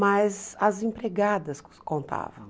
Mas as empregadas contavam.